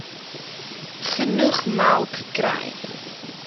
genoeg melk kry